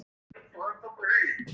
Svarar ekki.